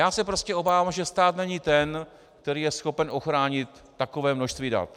Já se prostě obávám, že stát není ten, který je schopen ochránit takové množství dat.